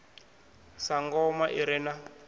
sa ngoma i re na